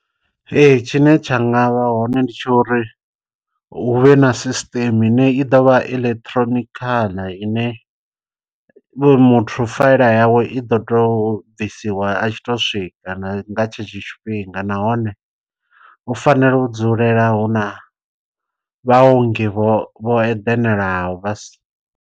Ee tshine tsha nga vha hone ndi tsha uri hu vhe na sisṱeme ine i ḓo vha electronical ine muthu faela yawe i ḓo tou u bvisiwa a tshi to swika nga tshetsho tshifhinga, nahone hu fanela u dzulela hu na vhaongi vho eḓanaho vha si.